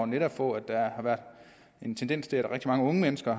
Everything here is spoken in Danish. netop på at der har været en tendens til at rigtig mange unge mennesker